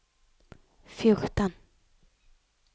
fjorten